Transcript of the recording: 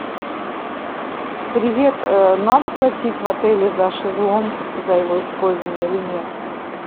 привет надо платить в отеле за шезлонг за его использование или нет